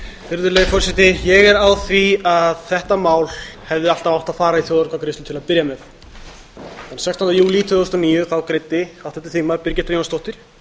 virðulegi forseti ég er á því að þetta mál hefði alltaf átt að fara í þjóðaratkvæðagreiðslu til að byrja með þann sextánda júlí tvö þúsund og níu greiddi háttvirtur þingmaður birgitta jónsdóttir